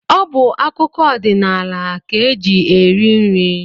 Ọ bụ akụkọ odinaala ka o ji eri nri